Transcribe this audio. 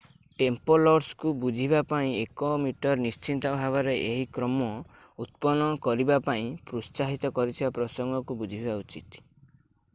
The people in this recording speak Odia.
ଟେମ୍ପଲର୍ସକୁ ବୁଝିବା ପାଇଁ 1ମ ନିଶ୍ଚିତ ଭାବରେ ଏହି କ୍ରମ ଉତ୍ପନ୍ନ କରିବା ପାଇଁ ପ୍ରୋତ୍ସାହିତ କରିଥିବା ପ୍ରସଙ୍ଗକୁ ବୁଝିବା ଉଚିତ